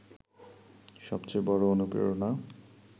সবচেয়ে বড় অনুপ্রেরণা